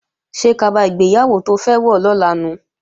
Ṣé kaba ìgbéyàwó to fẹ́ wọ̀ lọ́la nu?